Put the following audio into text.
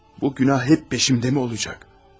Bu günah həmişə ardımca olacaqmı?